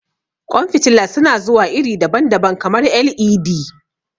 Ƙwan fitila su na zuwa iri daban-daban, kamar LED.